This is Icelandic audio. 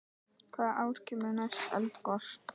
Hvaða ár kemur næst eldgos?